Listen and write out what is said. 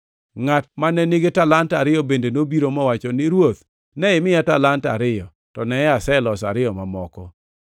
“Ngʼat mane nigi talanta ariyo bende nobiro, mowacho ni, ‘Ruodh, ne imiya talanta ariyo, to neye, aseloso ariyo mamoko.’